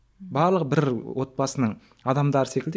барлығы бір отбасының адамдары секілді